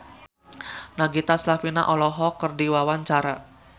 Nagita Slavina olohok ningali Sheridan Smith keur diwawancara